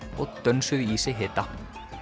og dönsuðu í sig hita